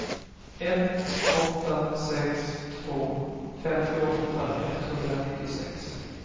ett åtta sex två femtioåtta etthundranittiosex